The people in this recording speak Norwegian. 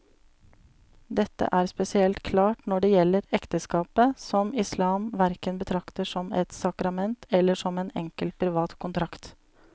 Dette er spesielt klart når det gjelder ekteskapet, som islam hverken betrakter som et sakrament eller som en enkel privat kontrakt.